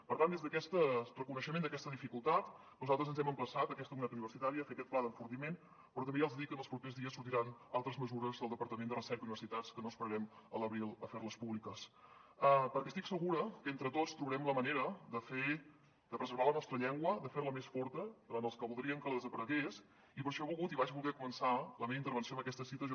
per tant des d’aquest reconeixement d’aquesta dificultat nosaltres ens hem emplaçat aquesta comunitat universitària a fer aquest pla d’enfortiment però també ja els dic que en els propers dies sortiran altres mesures del departament de recerca i universitats que no esperarem a l’abril a fer les públiques perquè estic segura que entre tots trobarem la manera de preservar la nostra llengua de fer la més forta davant els que voldrien que desaparegués i per això he volgut i vaig voler començar la meva intervenció amb aquesta cita de j